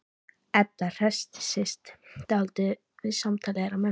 Edda hressist dálítið við samtal þeirra mömmu.